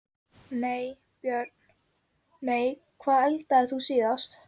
nei Börn: nei Hvað eldaðir þú síðast?